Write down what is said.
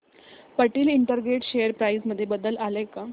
Patel integrated share price मध्ये बदल आलाय का